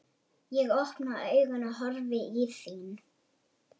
Ég opna augun og horfi í þín.